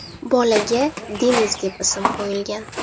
Bolaga Deniz deb ism qo‘yilgan.